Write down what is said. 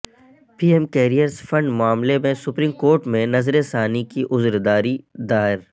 پی M cares fund معاملے میں supreme court میں نظرثانی کی عذرداری دائر